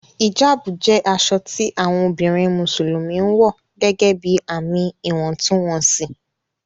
Hijabu jẹ aṣọ tí awọn obìnrin Musulumi ǹwọ̀ gẹ́gẹ́bí ààmì ìwọ̀ntúnwọnsì